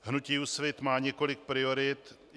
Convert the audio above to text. Hnutí Úsvit má několik priorit.